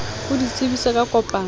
o di tsebise ka kopano